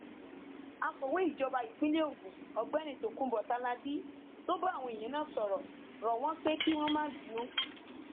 akọwé ìjọba ìpínlẹ ogun ọgbẹni tokunbo tálábì tó bá àwọn èèyàn náà sọrọ rọ wọn pé kí wọn má bínú